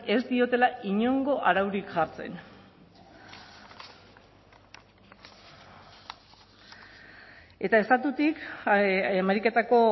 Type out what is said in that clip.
ez diotela inongo araurik jartzen eta estatutik ameriketako